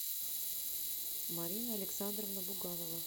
марина александровна буганова